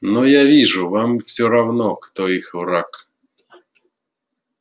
но я вижу вам всё равно кто их враг